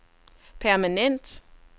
permanent